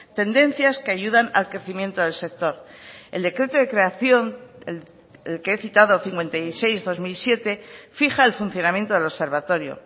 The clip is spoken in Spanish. tendencias que ayudan al crecimiento del sector el decreto de creación el que he citado cincuenta y seis barra dos mil siete fija el funcionamiento del observatorio